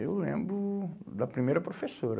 Eu lembro da primeira professora.